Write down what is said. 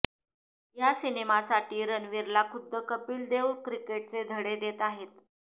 या सिनेमासाठी रणवीरला खुद्द कपिल देव क्रिकेटचे धडे देत आहेत